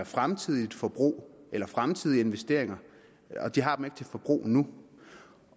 fremtidigt forbrug eller fremtidige investeringer og de har dem ikke til forbrug nu